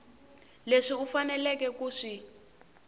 leswi u faneleke ku swi